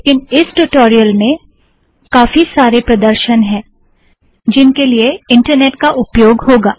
लेकिन इस ट्यूटोरियल में काफ़ी सारे प्रदर्शन हैं जिनके लिए इन्टरनेट का उपयोग होगा